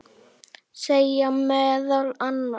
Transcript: segir meðal annars